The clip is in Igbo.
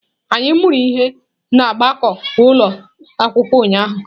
Anyị mụrụ ihe na gbakọọ ụlọ akwụkwọ ụnyahụ.